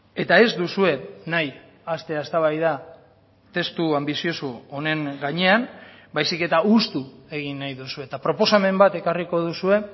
eta ez duzue nahi hastea eztabaida testu anbizioso honen gainean baizik eta hustu egin nahi duzue eta proposamen bat ekarriko duzue